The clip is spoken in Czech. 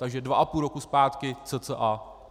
Takže dva a půl roku zpátky cca.